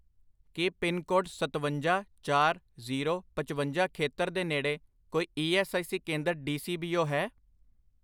ਕੀ pin code ਸਤਵੰਜਾ, ਚਾਰ, zero, ਪਚਵੰਜਾ ਖੇਤਰ ਦੇ ਨੇੜੇ ਕੋਈ ਈ ਐੱਸ ਆਈ ਸੀ ਕੇਂਦਰ ਡੀ.ਸੀ.ਬੀ.ਓ ਹੈ?